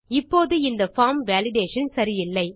இப்போது இந்த form validation சரியில்லை